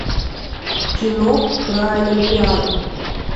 кино про олимпиаду